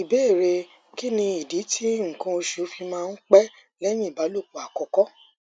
ìbéèrè kí nìdí tí nkan osu fi máa ń pẹ lẹyìn ìbálòpọ àkọkọ